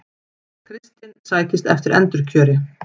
Kristinn sækist eftir endurkjöri